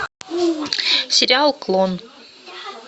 сериал клон